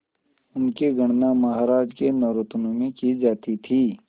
उनकी गणना महाराज के नवरत्नों में की जाती थी